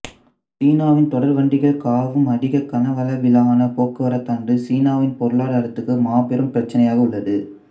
சீனாவின் தொடர்வண்டிகள் காவும் அதிக கனவளவிலான போக்குவரத்தானது சீனாவின் பொருளாதாரத்துக்கு மாபெரும் பிரச்சினையாக உள்ளது